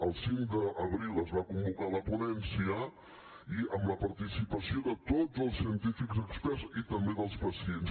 el cinc d’abril es va convocar la ponència amb la participació de tots els científics experts i també dels pacients